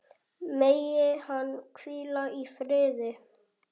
Megi hann hvíla í friði.